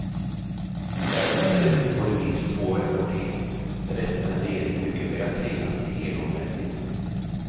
Ärendet är ute på remiss två veckor till, därefter kan regeringen mycket väl tvingas till helomvändning.